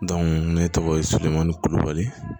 ne tɔgɔ ye surumani kulubali